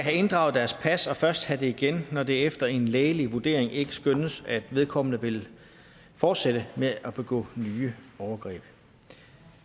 have inddraget deres pas og først have det igen når det efter en lægelig vurdering ikke skønnes at vedkommende vil fortsætte med at begå nye overgreb